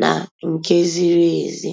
nà nke zìrì èzí.